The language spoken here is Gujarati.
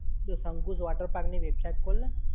જો શકુંશ water park ની website ખોલ ને!